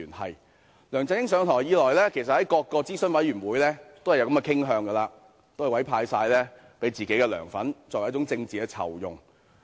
其實自梁振英上台以來，在各個諮詢委員會均有這種傾向，把職位委派給自己的"梁粉"，作為一種政治酬庸。